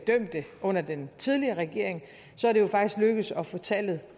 dømte under den tidligere regering så er det jo faktisk lykkedes at få tallet